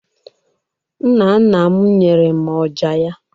nna nna m nyere m ọjà ya.